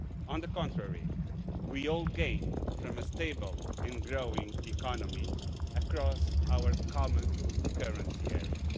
on the contrary, we all gain from a stable and growing economy across our common currency area.